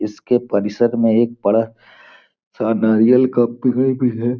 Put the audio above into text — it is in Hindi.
इसके परिषद में एक बड़ा सा का कुआं भी है।